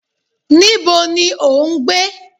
Níbo ni o ń gbé?